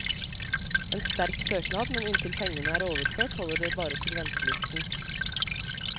En sterk søknad, men inntil pengene er overført holder det bare til ventelisten.